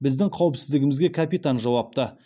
біздің қауіпсіздігімізге капитан жауапты